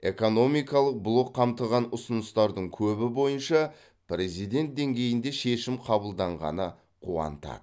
экономикалық блок қамтыған ұсыныстардың көбі бойынша президент деңгейінде шешім қабылданғаны қуантады